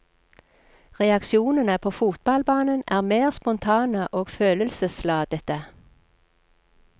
Reaksjonene på fotballbanen er mer spontane og følelsesladete.